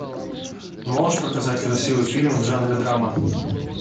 можешь показать красивый фильм в жанре драма